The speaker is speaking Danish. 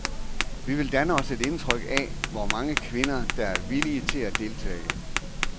Vi vil danne os et indtryk af, hvor mange kvinder, der er villige til at deltage.